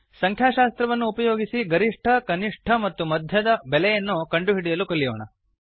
ಸಂಖ್ಯಾಶಾಸ್ತ್ರವನ್ನು ಉಪಯೋಗಿಸಿ ಗರಿಷ್ಠ ಕನಿಷ್ಠ ಮತ್ತು ಮಧ್ಯದ ಬೆಲೆಗಳನ್ನು ಕಂಡುಹಿಡಿಯಲು ಕಲಿಯೋಣ